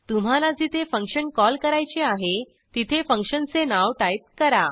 तुम्हाला जिथे function call करायचे आहे तिथे फंक्शनचे नाव टाईप करा